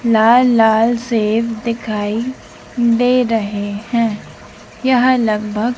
लाल लाल सेब दिखाई दे रहे हैं यहां लगभग--